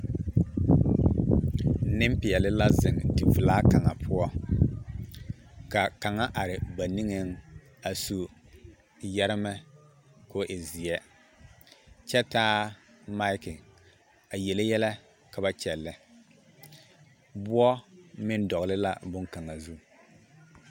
Nempeɛle la zeŋ develaa kaŋa poɔ ka kaŋa are ba niŋeŋ a su yɛremɛ k'o e zeɛ kyɛ taa maki a yele yɛlɛ ka ba kyɛllɛ, woɔ meŋ dɔgele la boŋkaŋa zu.